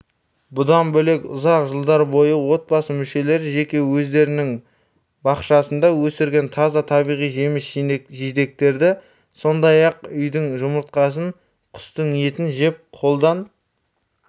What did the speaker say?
бұдан бөлек ұзақ жылдар бойы отбасы мүшелері жеке өздерінің бақшасында өсірілген таза табиғи жеміс-жидектерді сондай-ақ үйдің жұмыртқасын құстың етін жеп қолдан